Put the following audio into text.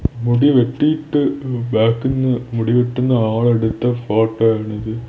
മുടി വെട്ടിട്ട് ബാക്കിന്ന് മുടി വെട്ടുന്ന ആൾ എടുത്ത ഫോട്ടോ ആണിത്.